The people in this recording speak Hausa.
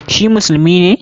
Shi musulmi ne?